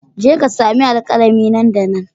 Je ka sami alkalami nan da nan